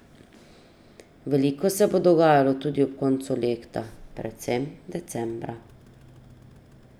Veliko se bo dogajalo tudi ob koncu leta, predvsem decembra.